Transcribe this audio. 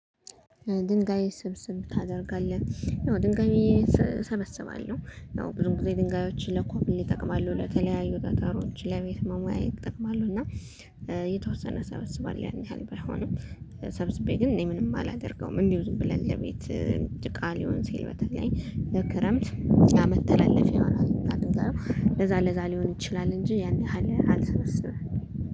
ድንጋይ ስብስብ ታደርጋለህ? ድንጋይ እሰበስባለሁ። ብዙ ጊዜ ድንጋዮችን ለኮብል ይጠቅማሉ ለተለያዩ ጠጠሮች ለቤት መሙያ ይጠቅማሉ። እና የተወሰነ እሰበስባለሁ ያን ያህል ባይሆንም። ሰብስቤ ግን እኔ ምንም አላደርገውም እንዲሁ ዝም ብለን ለቤት። ጭቃ ሊሆን ሲል በተለይ ለክረምት ለመተላለፊያ ይሆናል። አሉ ለዛ ለዛ ሊሆን ይችላል እንጂ ያን ያህል አልሰበስብም